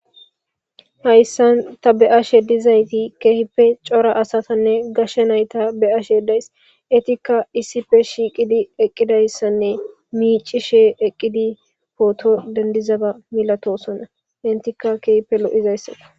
hayssan ta beyashe dizayti keehippe cora asatanne gashshe nayta be7ashedays etikka issife shiiqidi eqqidayssanne miici she eqqidi pooto dendizaba milatosonna intikka keehipe lo7izayssako